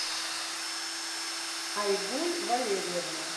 айгуль валерьевна